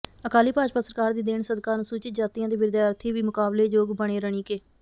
ਅਕਾਲੀ ਭਾਜਪਾ ਸਰਕਾਰ ਦੀ ਦੇਣ ਸਦਕਾ ਅਨਸੁਚਿਤ ਜਾਤੀਆ ਦੇ ਵਿਦਿਆਰਥੀ ਵੀ ਮੁਕਾਬਲੇ ਯੋਗ ਬਣੇ ਰਣੀਕੇ